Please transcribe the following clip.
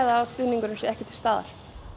að stuðningurinn sé ekki til staðar